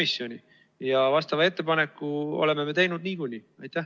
Sellekohase ettepaneku me oleme teinud niikuinii.